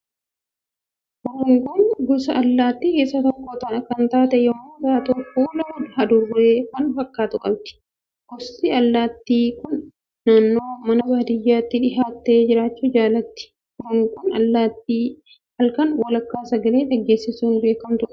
Hurunguun gosa allaattii keessaa tokko kan taate yommuu taatu fuula hadurree kan fakkaatu qabdi. Gosti allaattii kun naannoo mana baadiyyaatti dhiyaattee jiraachuu jaalatti. Hurunguun allaattii halkan walakkaa sagalee dhageessisuun beekamtudha.